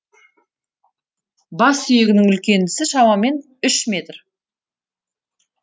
бассүйегінің үлкендісі шамамен үш метр